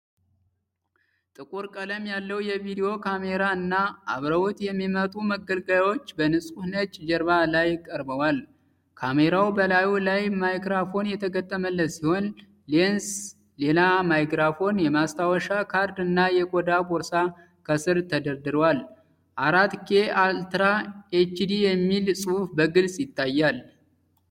ጥቁር ቀለም ያለው የቪዲዮ ካሜራ እና አብረውት የሚመጡ መገልገያዎች በንጹሕ ነጭ ጀርባ ላይ ቀርበዋል። ካሜራው በላዩ ላይ ማይክሮፎን የተገጠመለት ሲሆን፣ ሌንስ፣ ሌላ ማይክሮፎን፣ የማስታወሻ ካርድ እና የቆዳ ቦርሳ ከሥር ተደርድረዋል።"4ኬ አልትራ ኤችዲ" የሚል ጽሑፍ በግልጽ ይታያል።